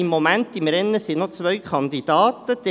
Im Moment liegen noch zwei Kandidaten im Rennen.